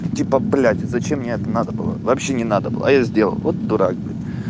типа блять зачем мне это надо было вообще не надо было а я сделал вот дурак блять